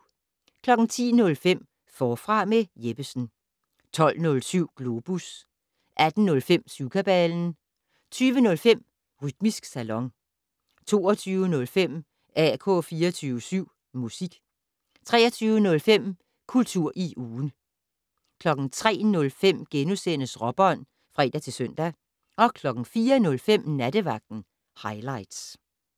10:05: Forfra med Jeppesen 12:07: Globus 18:05: Syvkabalen 20:05: Rytmisk Salon 22:05: AK 24syv Musik 23:05: Kultur i ugen 03:05: Råbånd *(fre-søn) 04:05: Nattevagten Highligts